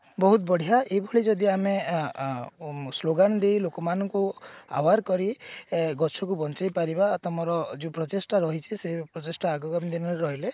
ବହୁତ ବଢିଆ ଏଇଭଳି ଯଦି ଆମେ ଅ ସ୍ଲୋଗାନ ଦେଇ ଲୋକମାନଙ୍କୁ aware କରି ଅ ଗଛ କୁ ବଞ୍ଚେଇ ପାରିବା ତମର ଯୋଉ ପ୍ରଚେଷ୍ଟା ରହିଛି ସେଇଭଳି ପ୍ରଚେଷ୍ଟା ଆଗାମୀ ଦିନରେ ରହିଲେ